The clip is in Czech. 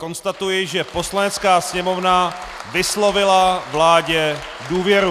Konstatuji, že Poslanecká sněmovna vyslovila vládě důvěru.